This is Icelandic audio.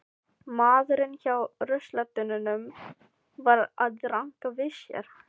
Maðurinn hjá ruslatunnunum var að ranka við sér.